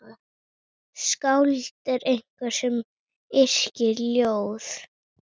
Skáld er einhver sem yrkir ljóð.